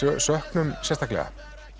söknum sérstaklega